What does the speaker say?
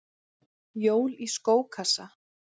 Jól í skókassa